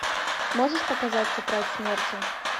можешь показать тетрадь смерти